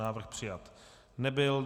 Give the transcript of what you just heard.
Návrh přijat nebyl.